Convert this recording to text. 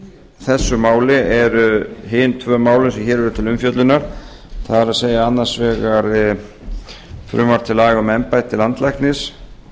þessu máli eru hin tvö málin sem hér eru til umfjöllunar það er annars vegar frumvarp til laga um embætti landlæknis